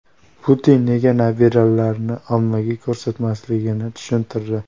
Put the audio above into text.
Putin nega nabiralarini ommaga ko‘rsatmasligini tushuntirdi.